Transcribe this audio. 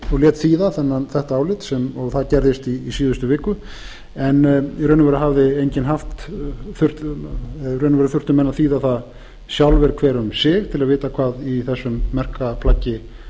og lét þýða þetta álit og það gerðist í síðustu viku en í raun og veru þurftu menn að þýða það sjálfir hver um sig til að vita hvað í þessu merka plaggi